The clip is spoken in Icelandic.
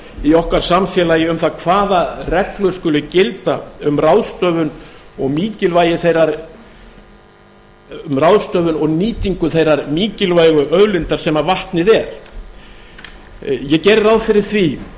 í okkar samfélagi um það hvaða reglur skuli gilda um ráðstöfun og nýtingu þeirrar mikilvægu auðlindar sem vatnið er ég geri ráð fyrir því